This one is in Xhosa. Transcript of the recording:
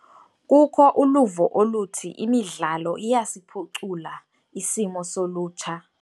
Kukho uluvo oluthi imidlalo iyasiphucula isimilo solutsha.